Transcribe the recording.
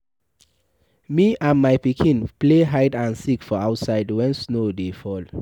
Me and my pikin play hide and seek for outside wen snow dey fall.